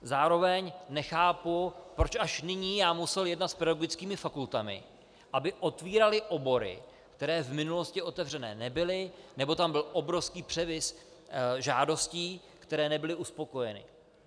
Zároveň nechápu, proč až nyní já musel jednat s pedagogickými fakultami, aby otvíraly obory, které v minulosti otevřené nebyly, nebo tam byl obrovský převis žádostí, které nebyly uspokojeny.